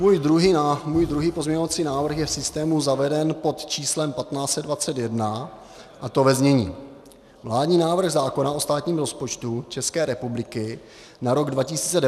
Můj druhý pozměňovací návrh je v systému zaveden pod číslem 1521, a to ve znění: Vládní návrh zákona o státním rozpočtu České republiky na rok 2018 se mění takto: